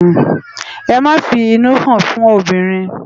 Emá fi inú hán fún óbirin